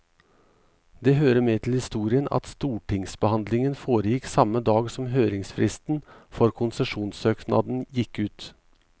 Det hører med til historien at stortingsbehandlingen foregikk samme dag som høringsfristen for konsesjonssøknaden gikk ut.